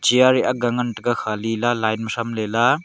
chair aga ngan taga Khali la line ma tham lela.